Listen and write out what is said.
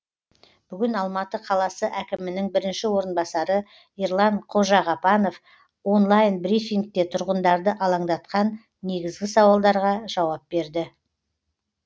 бүгін алматы қаласы әкімінің бірінші орынбасары ерлан қожағапанов онлайн брифингте тұрғындарды алаңдатқан негізгі сауалдарға жауап берді